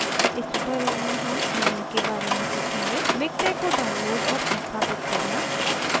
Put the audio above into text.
इस tutorial में हम निम्न के बारे में सीखेंगे: miktex को download और संस्थापित करना